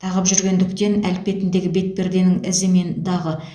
тағып жүргендіктен әлпетіндегі бетперденің ізі мен дағы